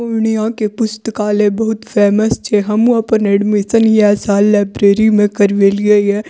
पूर्णिया के पुस्तकालय बहुत फेमस छे हमहु आपन एडमिशन एहि साल लाइब्रेरी में करवली हिए।